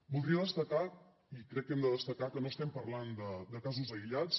voldria destacar i crec que hem de destacar que no estem parlant de casos aïllats